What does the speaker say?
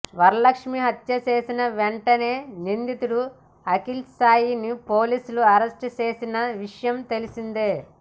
వరలక్ష్మీ హత్య చేసిన వెంటనే నిందితుడు అఖిల్ సాయిని పోలీసులు అరెస్ట్ చేసిన విషయం తెలిసిందే